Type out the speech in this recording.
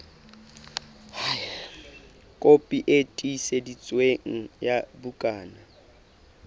kopi e tiiseditsweng ya bukana